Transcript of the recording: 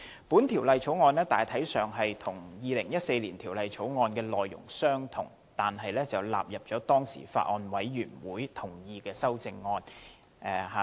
本條例草案大體上與2014年《條例草案》的內容相同，但納入了獲當時的法案委員會同意的修正案。